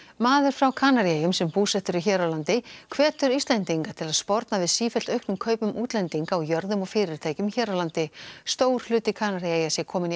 maður frá Kanaríeyjum sem búsettur er hér á landi hvetur Íslendinga til að sporna við sífellt auknum kaupum útlendinga á jörðum og fyrirtækjum hér á landi stór hluti Kanaríeyja sé kominn í